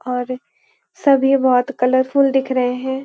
और सभी बहुत कलरफुल दिख रहे हैं।